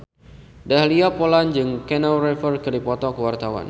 Dahlia Poland jeung Keanu Reeves keur dipoto ku wartawan